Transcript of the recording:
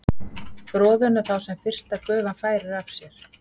froðuna þá sem fyrsta gufan færir af sér